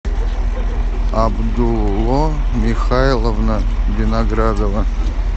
абдулло михайловна виноградова